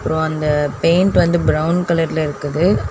அப்றோ அந்த பெயிண்ட் வந்து பிரவுன் கலர்ல இருக்குது.